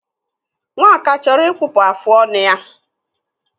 Nwaka chọrọ ịkpụpụ afụ ọnụ ya.